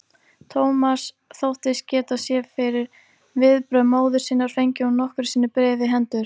Thomas þóttist geta séð fyrir viðbrögð móður sinnar, fengi hún nokkru sinni bréfið í hendur.